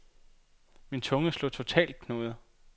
Min tunge slog totalt knuder.